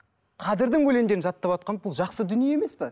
қадірдің өлеңдерін жаттаватқан бұл жақсы дүние емес пе